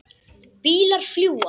Bílar fljúga.